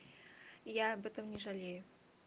я об этом не жалею